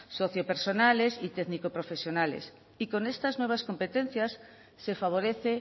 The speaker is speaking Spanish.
socio personales y técnico profesionales y con estas nuevas competencias se favorece